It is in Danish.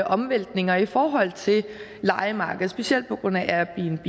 omvæltninger i forhold til lejemarkedet specielt på grund af airbnb